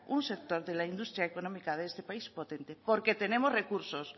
un sector de la industria económica de este país potente porque tenemos recursos